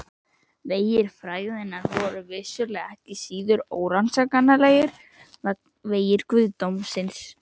Vegir fræðanna voru vissulega ekki síður órannsakanlegir en vegir guðdómsins!